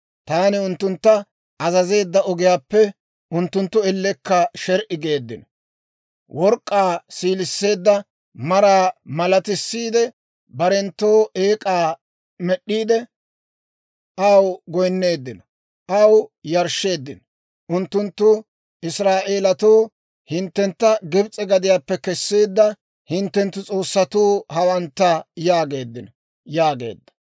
Taani unttuntta azazeedda ogiyaappe unttunttu ellekka sher"i geeddino. Work'k'aa siiliseedda maraa malatissiide, barenttoo eek'aa med'd'iide aw goynneeddino; aw yarshsheeddino. Unttunttu, ‹Israa'eelatoo, hinttentta Gibs'e gadiyaappe kesseedda hinttenttu s'oossatuu hawantta› yaageeddino» yaageedda.